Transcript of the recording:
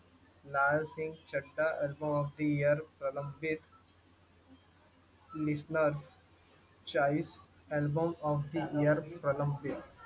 लाल Singh Chaddha album of the year album of the year प्रलंबित